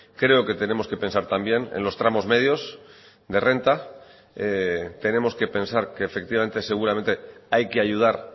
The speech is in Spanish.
creo que tenemos que pensar también en los tramos medios de renta tenemos que pensar que efectivamente seguramente hay que ayudar